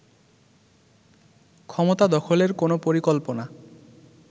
ক্ষমতা দখলের কোন পরিকল্পনা